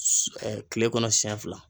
kile kɔnɔ siyɛn fila.